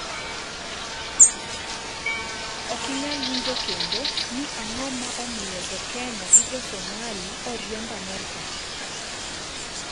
Ok inyal winjo kendo ni ang'o ma omiyo jokenya gi josomali oriemb amerka?